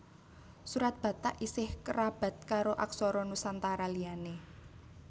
Surat Batak isih kerabat karo aksara Nusantara liyané